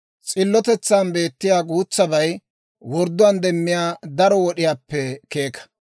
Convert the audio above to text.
S'illotetsan beettiyaa guutsabay wordduwaan demmiyaa daro wod'iyaappe keeka.